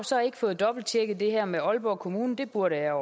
så ikke fået dobbelttjekket det her med aalborg kommune det burde jeg